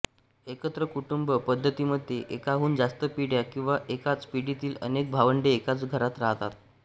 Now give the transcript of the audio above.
एकत्र कुटुंब पद्धतीमध्ये एकाहून जास्त पिढ्या किंवा एकाच पिढीतील अनेक भावंडे एकाच घरात राहतात